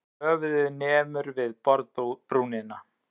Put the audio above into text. Höfuðið nemur við borðbrúnina.